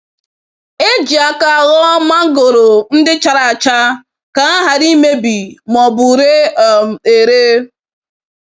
E ji aka họọ mangoro ndị chara acha ka ha ghara imebi ma ọbụ ire um ere.